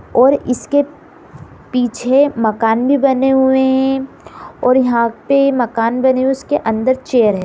और इसके पीछे मकान भी बने हुए है और यहां पे मकान बने हुए उसके अंदर चैयर है।